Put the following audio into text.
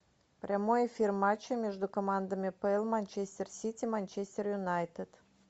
прямой эфир матча между командами апл манчестер сити манчестер юнайтед